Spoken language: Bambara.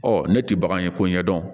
Ɔ ne tɛ bagan ye ko ɲɛdɔn